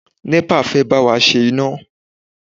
NEPA fẹ́ bá wa ṣe iná.